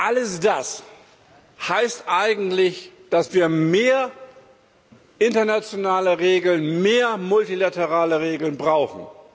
Alles das heißt eigentlich, dass wir mehr internationale Regeln, mehr multilaterale Regeln, brauchen.